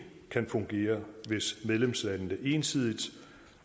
kan fungere hvis medlemslandene ensidigt